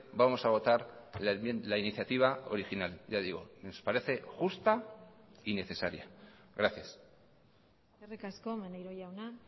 vamos a votar la iniciativa original ya digo nos parece justa y necesaria gracias eskerrik asko maneiro jauna